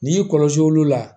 N'i y'i kɔlɔsi olu la